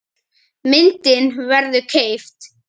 Myndin verður keypt.